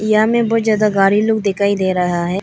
यहां में बहुत ज्यादा गाड़ी लोग दिखाई दे रहा है।